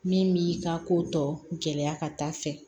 Min b'i ka ko tɔ gɛlɛya ka taa fɛ